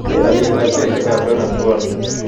Keer alyetap sheaitap donuts world